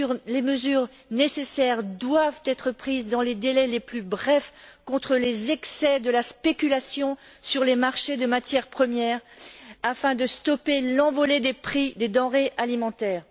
Les mesures nécessaires doivent être prises dans les délais les plus brefs pour contrer les excès de la spéculation sur les marchés des matières premières afin de stopper l'envolée des prix des denrées alimentaires.